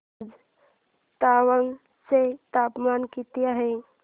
आज तवांग चे तापमान किती आहे